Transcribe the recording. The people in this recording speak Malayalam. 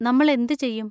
നമ്മൾ എന്ത് ചെയ്യും?